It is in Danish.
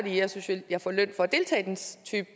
jeg synes jo jeg får løn for